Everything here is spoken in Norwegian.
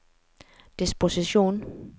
disposisjon